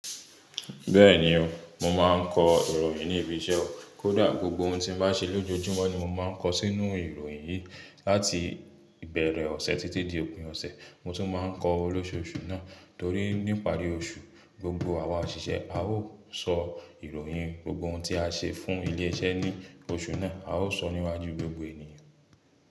Bẹ́ẹ̀ni o, mo ma ń kọ ìròyìn ní ibi iṣẹ́ wa. Kódà gbogbo ohun tí mo bá ṣe lójojúmọ́ ni mo máa ń kọ sínu ìròyìn yìí. Láti ìbẹ̀rẹ̀ ọ̀sẹ̀ títí di òpin ọ̀sẹ̀, mo tún máa ń kọ olóṣòòṣù náà torí ní ìparí oṣù, gbogbo àwa òṣìṣẹ́ a ó sọ ìròyìn gbogbo ohun tí a ṣe fún ilé iṣẹ́ ní oṣù náà, a ó sọ níwájú gbogbo ènìyàn.